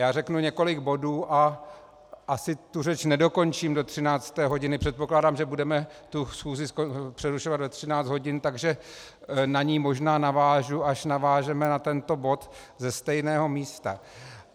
Já řeknu několik bodů a asi tu řeč nedokončím do 13. hodiny, předpokládám, že budeme tu schůzi přerušovat ve 13 hodin, takže na ni možná navážu, až navážeme na tento bod, ze stejného místa.